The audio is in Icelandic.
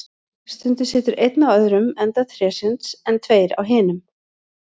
Stundum situr einn á öðrum enda trésins, en tveir á hinum.